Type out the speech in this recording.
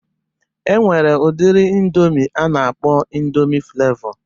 E nwere udiri ịndomi a na-akpọ ịndomi Flevọ